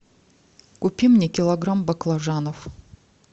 купи мне килограмм баклажанов